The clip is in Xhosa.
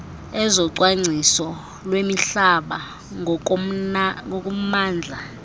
ezocwangciso lwemihlaba ngokommandla